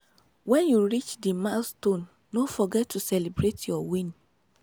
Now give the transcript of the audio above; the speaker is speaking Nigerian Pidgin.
when you don reach di milestone no forget to celebrate your win